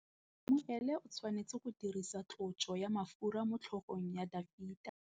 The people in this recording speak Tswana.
Samuele o tshwanetse go dirisa tlotsô ya mafura motlhôgong ya Dafita.